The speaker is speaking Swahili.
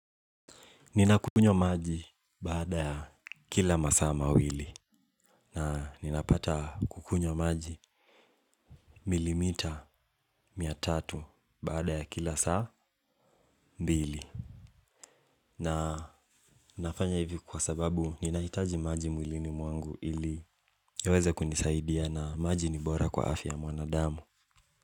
Ninakunywa maji baada ya kila masa mawili na ninapata kukunywa maji milimita mia tatu baada ya kila saa mbili na nafanya hivi kwa sababu ninahitaji maji mwilini mwangu ili yaweze kunisaidia na maji ni bora kwa afya ya mwanadamu.